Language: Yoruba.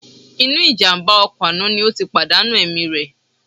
Inú ìjàmbá ọkọ̀ àná ni ó ti pàdánù ẹ̀mí rẹ̀